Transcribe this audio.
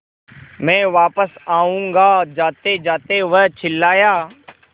मैं वापस आऊँगा जातेजाते वह चिल्लाया